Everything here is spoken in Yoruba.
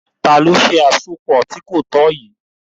Tànì o ṣẹ̀ àsọpọ̀ tì kò tọ̀ yíì?